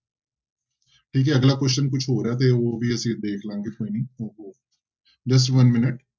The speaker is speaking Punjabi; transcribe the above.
ਠੀਕ ਹੈ ਅਗਲਾ question ਕੁਛ ਹੋਰ ਹੈ ਤੇ ਉਹ ਵੀ ਅਸੀਂ ਦੇਖ ਲਵਾਂਗੇ ਕੋਈ ਨੀ just one minute